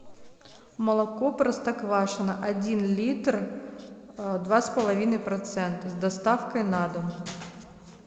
молоко простоквашино один литр два с половиной процента с доставкой на дом